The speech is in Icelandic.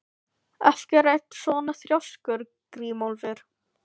Af hverju ertu svona þrjóskur, Grímólfur?